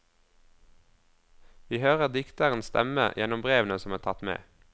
Vi hører dikterens stemme gjennom brevene som er tatt med.